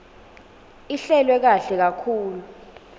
ihlelwe kahle kakhulu